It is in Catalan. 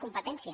competència